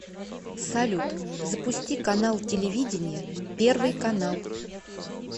салют запусти канал телевидения первый канал